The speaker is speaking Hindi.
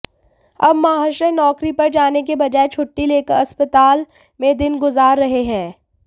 अब महाशय नौकरी पर जाने के बजाय छुट्टी लेकर अस्पताल में दिन गुजार रहे हैं